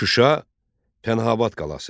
Şuşa Pənahabad qalası.